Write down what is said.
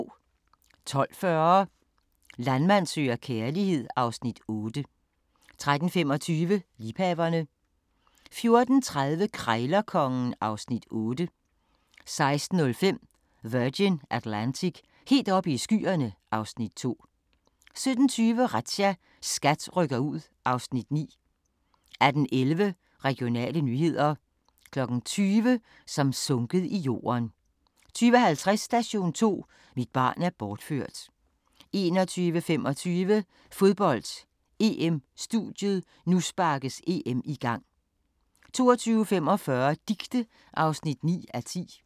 12:40: Landmand søger kærlighed (Afs. 8) 13:25: Liebhaverne 14:30: Krejlerkongen (Afs. 8) 16:05: Virgin Atlantic – helt oppe i skyerne (Afs. 2) 17:20: Razzia – SKAT rykker ud (Afs. 9) 18:11: Regionale nyheder 20:00: Som sunket i jorden 20:50: Station 2: Mit barn er bortført 21:25: Fodbold: EM-studiet - nu sparkes EM i gang 22:45: Dicte (9:10)